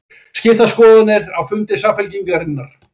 Skiptar skoðanir á fundi Samfylkingarinnar